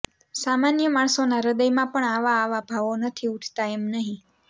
સામાન્ય માણસોના હૃદયમાં પણ આવા આવા ભાવો નથી ઊઠતા એમ નહિ